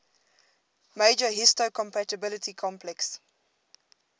major histocompatibility complex